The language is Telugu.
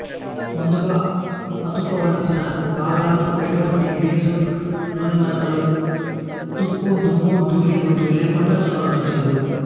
ముందుగా అతుకవలసిన భాగాలను ఎటువంటి గ్రీజు నూనెమరకలు తుప్పు దుమ్ము ధూళి వంటివి లేకుండ శుభ్రపరచెదరు